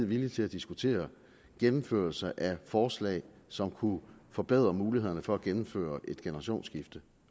villig til at diskutere gennemførelse af forslag som kunne forbedre mulighederne for at gennemføre et generationsskifte